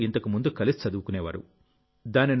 నలుగురూ ఇంతకుముందు కలిసి చదువుకునేవారు